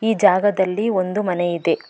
ಈ ಜಾಗದಲ್ಲಿ ಒಂದು ಮನೆ ಇದೆ.